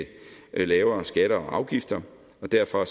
lavere skatter og afgifter derfor